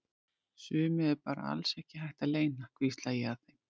Sumu er bara alls ekki hægt að leyna, hvísla ég að þeim.